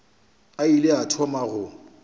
a ile a thoma go